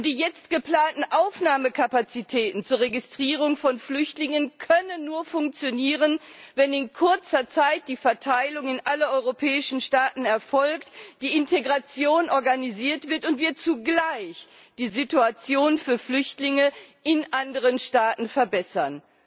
Die jetzt geplanten Aufnahmekapazitäten zur Registrierung von Flüchtlingen können nur funktionieren, wenn in kurzer Zeit die Verteilung in alle europäischen Staaten erfolgt, die Integration organisiert wird und wir zugleich die Situation für Flüchtlinge in anderen Staaten verbessern.